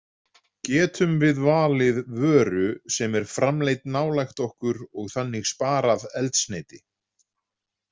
Getum við valið vöru sem er framleidd nálægt okkur og þannig sparað eldsneyti?